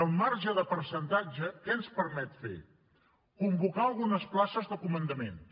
el marge de percentatge què ens permet fer convocar algunes places de comandaments